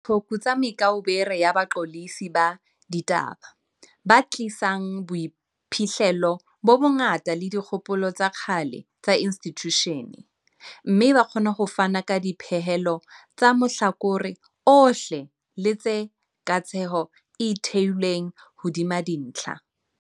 Re batla diqhoku tsa me kaubere ya baqolotsi ba di taba, ba tlisang boiphihlelo bo bongata le dikgopolo tsa kgale tsa institjushene, mme ba kgona ho fana ka dipehelo tsa mahlakore ohle le tshe katsheko e theilweng hodima dintlha.